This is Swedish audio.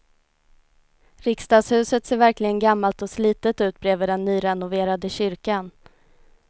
Riksdagshuset ser verkligen gammalt och slitet ut bredvid den nyrenoverade kyrkan.